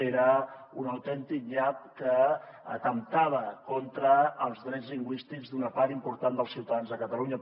era un autèntic nyap que atemptava contra els drets lingüístics d’una part important dels ciutadans de catalunya